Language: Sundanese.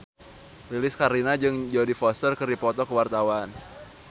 Lilis Karlina jeung Jodie Foster keur dipoto ku wartawan